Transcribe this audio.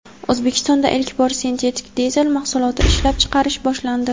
O‘zbekistonda ilk bor sintetik dizel mahsuloti ishlab chiqarish boshlandi.